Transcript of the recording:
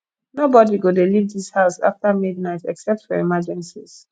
nobody go dey leave dis house after midnight except for emergencies